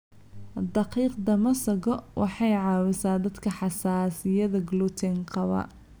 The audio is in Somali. Daqiiqda masago waxa ay caawisaa dadka xasaasiyadda gluten qaba.